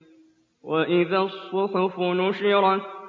وَإِذَا الصُّحُفُ نُشِرَتْ